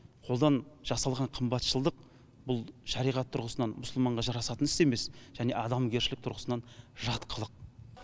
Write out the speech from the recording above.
қолдан жасалған қымбатшылдық бұл шариғат тұрғысынан мұсылманға жарасатын іс емес және адамгершілік тұрғысынан жат қылық